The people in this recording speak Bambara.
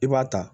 I b'a ta